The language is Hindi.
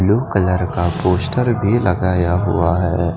ब्लू कलर का पोस्टर भी लगाया हुआ है।